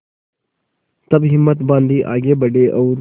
तब हिम्मत बॉँधी आगे बड़े और